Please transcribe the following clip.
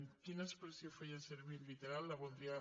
quina expressió feia servir literal la voldria